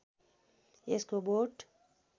यसको बोट